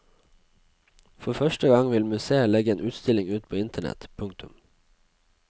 For første gang vil museet legge en utstilling ut på internett. punktum